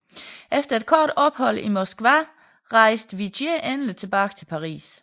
Efter et kort ophold i Moskva rejste Vigée endelig tilbage til Paris